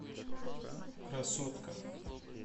красотка